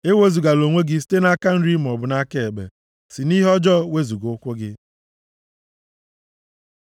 Ewezugala onwe gị site nʼaka nri maọbụ nʼaka ekpe; si nʼihe ọjọọ wezuga ụkwụ gị.